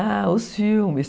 Ah, os filmes...